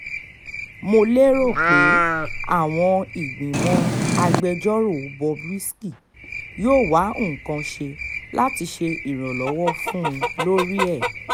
mo lérò pé àwọn ìgbìmọ̀ agbẹjọ́rò bob risky yóò wá nǹkan ṣe láti ṣe ìrànlọ́wọ́ fún un un lórí ẹ̀